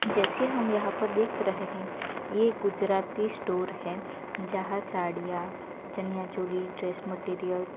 जैसे हम यहां पर देख रहे हैं ये गुजराती स्टोर है जहां साड़ियां चनिया चोली ड्रेस मटेरियल --